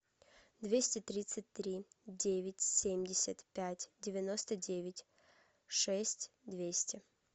двести тридцать три девять семьдесят пять девяносто девять шесть двести